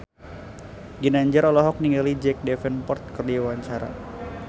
Ginanjar olohok ningali Jack Davenport keur diwawancara